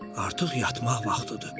Artıq yatmaq vaxtıdır.